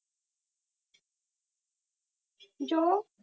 ਜੋ